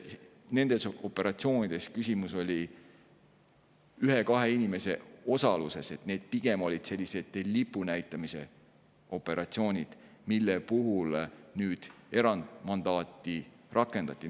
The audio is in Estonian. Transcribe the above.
Nendes operatsioonides on küsimus ühe-kahe inimese osaluses, need, mille puhul nüüd erandmandaati rakendati, olid pigem sellised lipu näitamise operatsioonid.